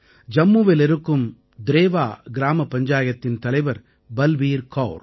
ஜம்முவில் இருக்கும் த்ரேவா கிராமப் பஞ்சாயத்தின் தலைவர் பல்பீர் கௌர்